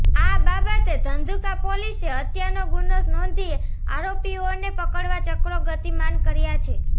આ બાબતે ધંધુકા પોલીસે હત્યાનો ગુનો નોંધી આરોપીઓને પકડવા ચક્રો ગતિમાન કર્યા છે